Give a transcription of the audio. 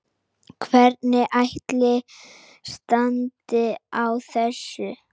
Hvernig ætli standi á þessu?